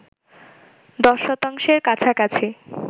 ১০ শতাংশের কাছাকাছি